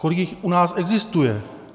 Kolik jich u nás existuje?